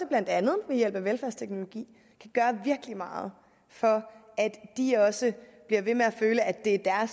blandt andet ved hjælp af velfærdsteknologi kan gøre virkelig meget for at de også bliver ved med at føle at det er